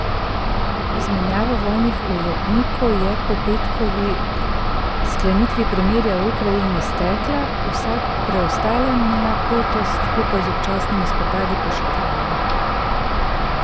Izmenjava vojnih ujetnikov je po petkovi sklenitvi premirja v Ukrajini stekla, vsa preostala napetost skupaj z občasnimi spopadi pa še traja.